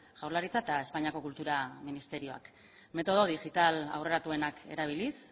jaurlaritza eta espainiako kultura ministerioak metodo digital aurreratuenak erabiliz